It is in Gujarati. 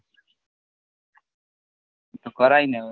તો કરાય ને